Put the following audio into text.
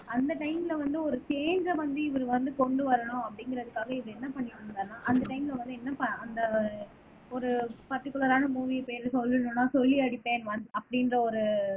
அந்த டைம்ல வந்து ஒரு சேஞ்ச வந்து இவரு வந்து கொண்டு வரணும் அப்படிங்கிறதுக்காக, இவர் என்ன பண்ணிட்டு இருந்தாருன்னா, அந்த டைம்ல வந்து என்ன ப அந்த ஒரு பர்டிகுலரான மூவி இப்ப எது சொல்லணும்ன்னா சொல்லி அடிப்பேன் ஒன் அப்படின்ற ஒரு